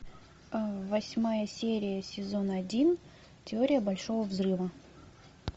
восьмая серия сезон один теория большого взрыва